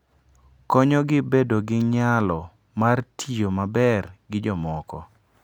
Konyogi bedo gi nyalo mar tiyo maber gi jomoko.